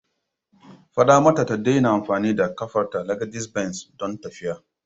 Fada mata ta daina amfani da kafarta (legedis benz) don tafiya.